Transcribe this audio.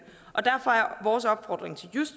vores opfordring til